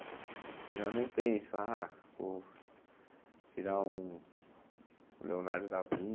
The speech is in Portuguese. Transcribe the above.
Eu já não penso ah o virar um um Leonardo da